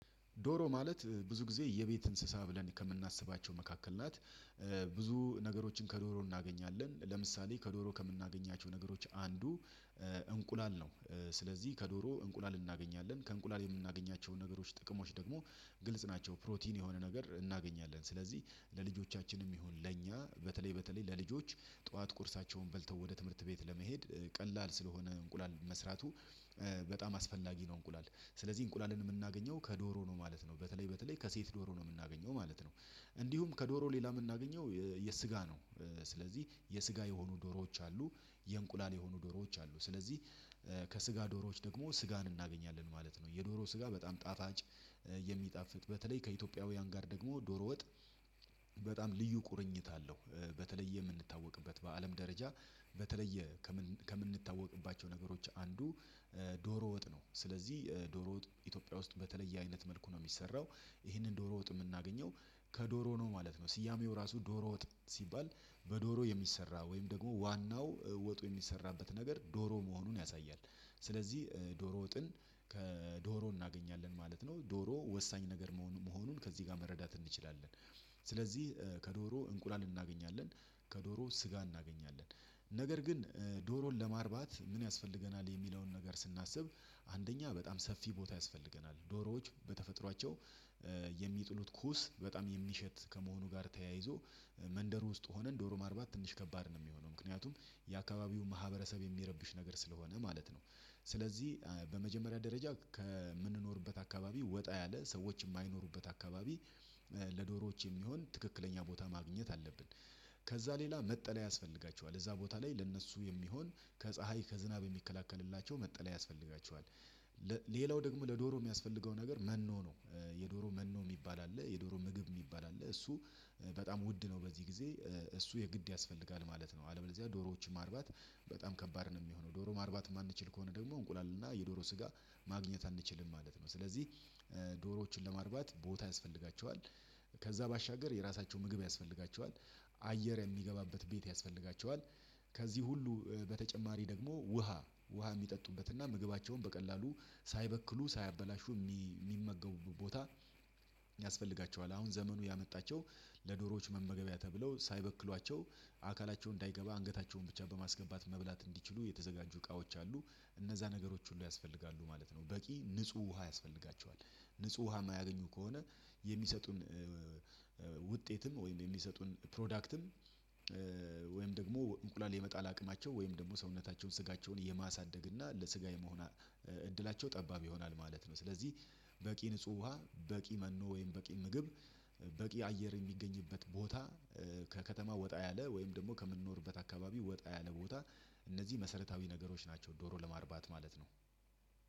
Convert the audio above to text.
ዶሮ ማለት ብዙ ጊዜ የቤት እንስሳ ብለን ከምናስባቸው መካከል ናት። ብዙ ነገሮችን ከዶሮ እናገኛለን ለምሳሌ ከዶሮ ከምናገኛቸው ነገሮች አንዱ እንቁላል ነው። ስለዚህ ከዶሮ እንቁላል እናገኛለን ከእንቁላል የምናገኛቸውን ነገሮች ጥቅሞች ደግሞ ግልጽ ናቸው። ፕሮቲን የሆነ ነገር እናገኛለን ስለዚህ ለልጆቻችንም ይሁን ለእኛ በተለይ በተለይ ለልጆች ጠዋት ቁርሳቸውን በልተው ወደ ትምህርት ቤት ለመሄድ ቀላል ስለሆነ እንቁላል መስራቱ በጣም አስፈላጊ ነው። እንቁላል ስለዚህ እንቁላልን የምናገኘው ከዶሮ ነው ማለት ነው በተለይ በተለይ ከሴት ዶሮ ነው የምናገኘው ማለት ነው። እንዲሁም ከዶሮ ሌላ የምናገኘው የስጋ ነው። ስለዚህ የስጋ የሆኑ ዶሮዎች አሉ የእንቁላል የሆኑ ዶሮዎች አሉ ስለዚህ ከስጋ ዶሮዎች ደግሞ ስጋን እናገኛለን ማለት ነው። የዶሮ ስጋ በጣም ጣጣጭ የሚጣፍጥ በተለይ ከኢትዮጵያውያን ጋር ደግሞ ዶሮ ወጥ በጣም ልዩ ቁርኝት አለው። በተለየ የምንታወቅበት በአለም ደረጃ በተለየ ከምንታወቅባቸው ነገሮች አንዱ ዶሮ ወጥ ነው። ስለዚህ ዶሮ ወጥ ኢትዮጵያ ውስጥ በተለየ አይነት መልኩ ነው የሚሰራው። ይሄንን ዶሮ ወጥ የምናገኘው ከዶሮ ነው ማለት ነው። ስያሜው ራሱ ዶሮ ወጥ ሲባል በዶሮ የሚሰራ ወይም ደግሞ ዋናው ወጡ የሚሰራበት ነገር ዶሮ መሆኑን ያሳያል። ስለዚህ ዶሮ ወጥን ከዶሮ እናገኛለን ማለት ነው ዶሮ ወሳኝ ነገር መሆኑን ከዚህ ጋር መረዳት እንችላለን። ስለዚህ ከዶሮ እንቁላል እናገኛለን ከዶሮ ስጋ እናገኛለን። ነገር ግን ዶሮን ለማርባት ምን ያስፈልገናል? የሚለውን ነገር ስናስብ አንደኛ በጣም ሰፊ ቦታ ያስፈልገናል ዶሮዎች በተፈጥሯቸው የሚጥሉት ኩስ በጣም የሚሸት ከመሆኑ ጋር ተያይዞ መንደር ውስጥ ሆነን ዶሮ ማርባት ትንሽ ከባድ ነው የሚሆነው ምክንያቱም የአካባቢው ማህበረሰብ የሚረብሽ ነገር ስለሆነ ማለት ነው። ስለዚህ በመጀመሪያ ደረጃ ከምንኖርበት አካባቢ ወጣ ያለ ሰዎች የማይኖሩበት አካባቢ ለዶሮዎች የሚሆን ትክክለኛ ቦታ ማግኘት አለብን። ከዛ ሌላ መጠለያ ያስፈልጋቸዋል እዛ ቦታ ላይ ለእነሱ የሚሆን ከፀሀይ ከዝናብ የሚከላከልላቸው መጠለያ ያስፈልጋቸዋል። ሌላው ደግሞ ለዶሮ የሚያስፈልገው ነገር መኖ ነው። የዶሮ መኖ የሚባል አለ የዶሮ ምግብ የሚባል አለ እሱ በጣም ውድ ነው። በዚህ ጊዜ እሱ የግድ ያስፈልጋል ማለት ነው። አለበለዚያ ዶሮዎችም ማርባት በጣም ከባድ ነው የሚሆነው። ዶሮ ማርባት የማንችል ከሆነ ደግሞ እንቁላል እና የዶሮ ስጋ ማግኘት አንችልም ማለት ነው። ስለዚህ ዶሮዎችን ለማርባት ቦታ ያስፈልጋቸዋል። ከዛ ባሻገር የራሳቸው ምግብ ያስፈልጋቸዋል። አየር የሚገባበት ቤት ያስፈልጋቸዋል። ከዚህ ሁሉ በተጨማሪ ደግሞ ውሃ የሚጠጡበትና ምግባቸውን በቀላሉ ሳይበክሉ ሳያበላሹ የሚመገቡበት ቦታ ያስፈልጋቸዋል። አሁን ዘመኑ ያመጣቸው ለዶሮዎች መመገቢያ ተብለው ሳይበክሏቸው አካላቸው እንዳይገባ አንገታቸውን ብቻ በማስገባት መብላት እንዲችሉ የተዘጋጁ እቃዎች አሉ። እነዛ ነገሮች ሁሉ ያስፈልጋሉ ማለት ነው። በቂ ንጹህ ውሃ ያስፈልጋቸዋል። ንጹህ ውሃ የማያገኙ ከሆነ የሚሰጡን ውጤትም ወይም የሚሰጡን ፕሮዳክትም ወይም ደግሞ እንቁላል የመጣል አቅማቸው ወይም ደግሞ ሰውነታቸውን ስጋቸውን የማሳደግ እና ለስጋ የመሆን እድላቸው ጠባብ ይሆናል ማለት ነው። ስለዚህ በቂ ንጹህ ውሃ በቂ መኖ ወይም በቂ ምግብ በቂ አየር የሚገኝበት ቦታ ከከተማ ወጣ ያለ ወይም ደግሞ ከምንኖርበት አካባቢ ወጣ ያለ ቦታ እነዚህ መሰረታዊ ነገሮች ናቸው። ዶሮ ለማርባት ማለት ነው።